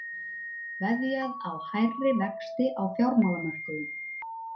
Veðjað á hærri vexti á fjármálamörkuðum